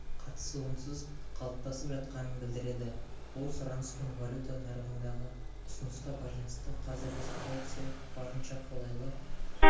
қатысуынсыз қалыптасып жатқанын білдіреді ол сұраныс пен валюта нарығындағы ұсынысқа байланысты қазіргі ситуация барынша қолайлы